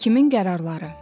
Hakimin qərarları.